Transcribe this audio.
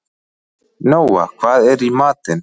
Nóa, hvað er í matinn?